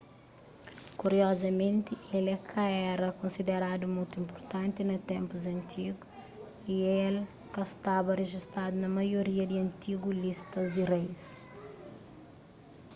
kuriozamenti el é ka éra konsideradu mutu inpurtanti na ténpus antigu y el ka staba rejistadu na maioria di antigu listas di reis